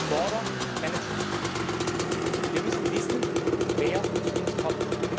Border Management Wir müssen wissen, wer zu uns kommt